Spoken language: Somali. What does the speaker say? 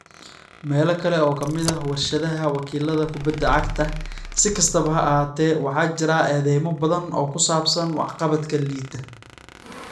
Meelo kale oo ka mid ah warshadaha wakiilada kubada cagta, si kastaba ha ahaatee, waxaa jira eedeymo badan oo ku saabsan waxqabadka liita.